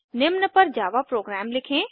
निम्न पर Java program लिखें